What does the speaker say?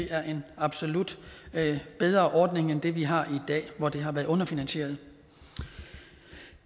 er en absolut bedre ordning end det vi har i dag hvor det har været underfinansieret